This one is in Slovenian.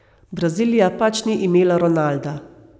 Brazilija pač ni imela Ronalda.